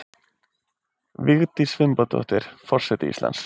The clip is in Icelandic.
Vigdís Finnbogadóttir forseti Íslands